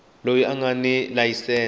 loyi a nga ni layisense